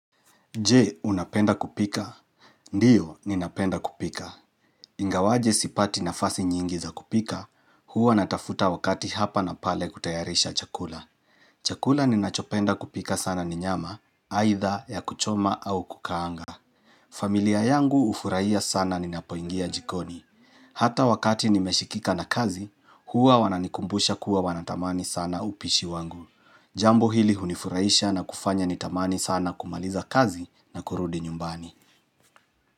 Je, unapenda kupika? Ndiyo, ninapenda kupika. Ingawaje sipati nafasi nyingi za kupika, huwa natafuta wakati hapa na pale kutayarisha chakula. Chakula ninachopenda kupika sana ni nyama, aidha ya kuchoma au kukaanga. Familia yangu ufurahia sana ninapoingia jikoni. Hata wakati nimeshikika na kazi, huwa wananikumbusha kuwa wanatamani sana upishi wangu. Jambo hili hunifuraisha na kufanya nitamani sana kumaliza kazi na kurudi nyumbani.